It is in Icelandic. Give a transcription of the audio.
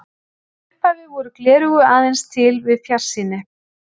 Í upphafi voru gleraugu aðeins til við fjarsýni.